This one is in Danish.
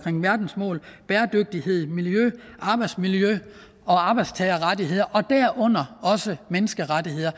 om verdensmålene bæredygtighed miljø arbejdsmiljø og arbejdstagerrettigheder og derunder også menneskerettigheder